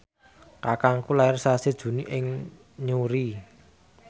kakangku lair sasi Juni ing Newry